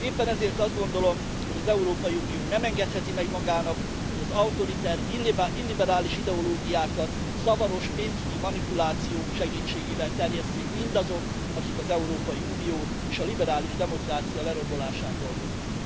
Éppen ezért azt gondolom, hogy az Európai Unió nem engedheti meg magának, hogy az autoriter, illiberális ideológiákat zavaros pénzügyi manipulációk segítségével terjesszék mindazok, akik az Európai Unió és a liberális demokrácia lerombolásán dolgoznak.